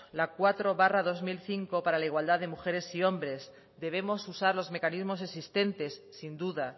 la cuatro barra dos mil cinco para la igualdad de mujeres y hombres debemos usar los mecanismos existentes sin duda